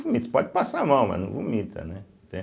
vomita pode passar mal, mas não vomita, né? entende